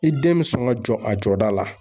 I den bɛ sɔn ka jɔ a jɔda la.